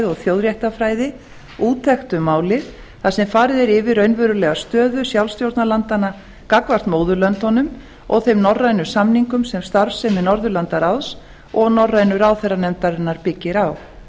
og þjóðréttarfræði úttekt um málið þar sem farið er yfir raunverulega stöðu sjálfstjórnarlandanna gagnvart móðurlöndunum og þeim norrænu samningum sem starfsemi norðurlandaráðs og norrænu ráðherranefndarinnar byggir á